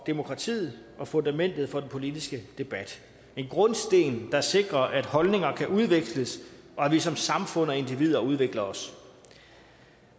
demokratiet og fundamentet for den politiske debat en grundsten der sikrer at holdninger kan udveksles og at vi som samfund og individer udvikler os